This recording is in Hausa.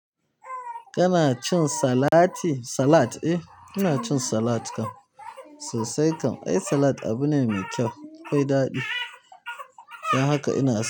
Kana cin salati salat eh ina cin salat kam sosai kam ai salad abu ne mai kyau, akwai daɗi don haka ina so.